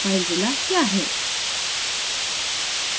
filezilla क्या है